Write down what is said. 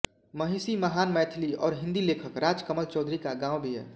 महिषी महान मैथिली और हिंदी लेखक राजकमल चौधरी का गाँव भी है